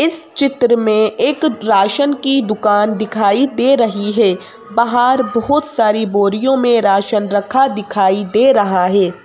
इस चित्र में एक राशन की दुकान दिखाई दे रही है बाहर बहुत सारी बोरियों में राशन रखा दिखाई दे रहा है।